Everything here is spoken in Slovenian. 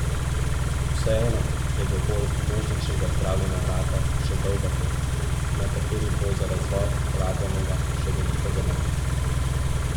Vseeno je do bolj množičnega zdravljenja raka še dolga pot, na kateri bo za razvoj porabljenega še veliko denarja.